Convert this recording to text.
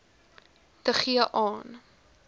te gee aan